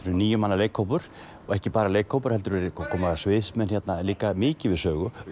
níu manna leikhópur og ekki bara leikhópur heldur koma hérna líka mikið við sögu